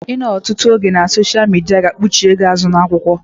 Ịnọ ọtụtụ oge na soshia midia ga kpuchie gị azụ na-akwụkwọ